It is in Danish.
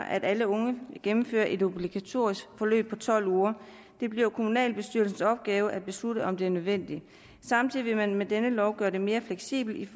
at alle unge gennemfører et obligatorisk forløb på tolv uger det bliver kommunalbestyrelsens opgave at beslutte om det er nødvendigt samtidig med at man med denne lov gør det mere fleksibelt